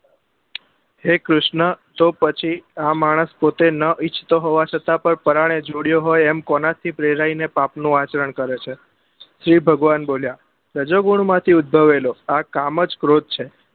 હે કૃષ્ણ તો પછી આ માનસ પોતે નાં ઈચ્છતો હોવા છતાં પણ પરાણે જોડાયો હોય એમ કોના થી પ્રેરાઈ ને પાપ નું આચરણ કરે છે શિવ ભગવાન બોલ્યા સજોગુણ માં થી ઉદ્ભવેલો આ કામ જ ક્રોધ છે